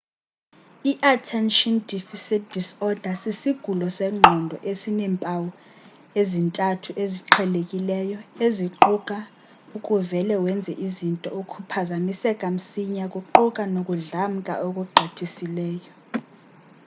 i-attention deficit disorder sisigulo sengqondo esineempawu ezintathu eziqhelekileyo eziquka ukuvele wenze izinto ukuphazamiseka msinyane kuquka nokudlamka okugqithiseleyo